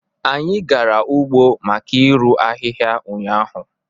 Anyị gara ugbo maka irụ ahịhịa ụnyaahụ